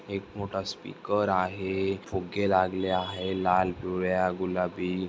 एक मोठा स्पीकर आहे फुगे लागेले आहे लाल पिवळ्या गुलाबी--